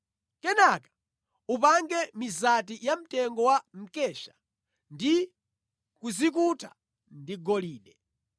Kenaka upange mizati yamtengo wa mkesha ndi kuzikuta ndi golide.